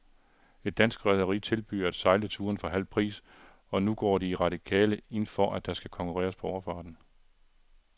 Et dansk rederi tilbyder at sejle turen for halv pris, og nu går de radikale ind for, at der skal konkurreres på overfarten.